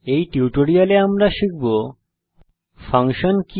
এই টিউটোরিয়ালে আমরা শিখব ফাংশন কি